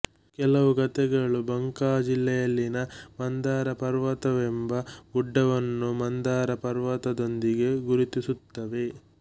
ಕೆಲವು ಕಥೆಗಳು ಬಂಕಾ ಜಿಲ್ಲೆಯಲ್ಲಿನ ಮಂದಾರ ಪರ್ವತವೆಂಬ ಗುಡ್ಡವನ್ನು ಮಂದರ ಪರ್ವತದೊಂದಿಗೆ ಗುರುತಿಸುತ್ತವೆ